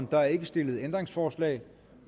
der er ikke stillet ændringsforslag